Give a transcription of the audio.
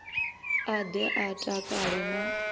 a ḓe a takale na